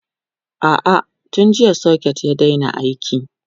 a'a tun jiya socket ya Daina aiki